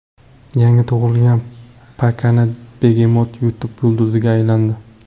Yangi tug‘ilgan pakana begemot YouTube yulduziga aylandi.